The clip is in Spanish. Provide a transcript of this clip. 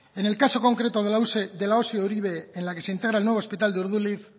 en el caso concreto de la osi uribe en la que se integra el nuevo hospital de urduliz